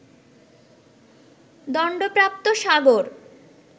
দন্ডপ্রাপ্ত সাগর